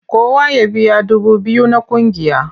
Kowa ya biya dubu biyu na ƙungiya!